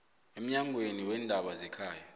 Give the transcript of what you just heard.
emnyangweni weendaba zekhaya